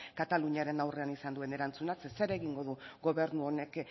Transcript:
kataluniaren aurrean izan duen erantzunak zeren zer egingo du gobernu honek